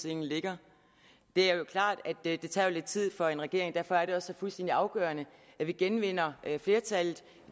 ligger det er klart at det tager lidt tid for en regering og derfor er det også så fuldstændig afgørende at vi genvinder flertallet